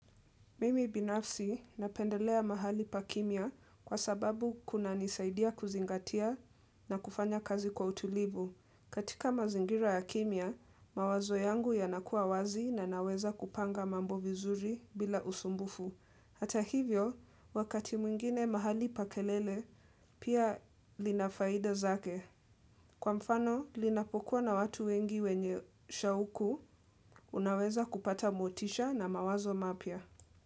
Mimi binafsi napendelea mahali pa kimya kwa sababu kunanisaidia kuzingatia na kufanya kazi kwa utulivu. Katika mazingira ya kimya, mawazo yangu yanakuwa wazi na naweza kupanga mambo vizuri bila usumbufu. Hata hivyo, wakati mwingine mahali pa kelele, pia lina faida zake. Kwa mfano, linapokuwa na watu wengi wenye shauku, unaweza kupata motisha na mawazo mapya.